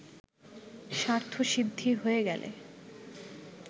স্বার্থসিদ্ধি হয়ে গেলে